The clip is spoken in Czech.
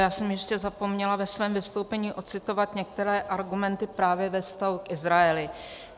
Já jsem ještě zapomněla ve svém vystoupení ocitovat některé argumenty právě ve vztahu k Izraeli.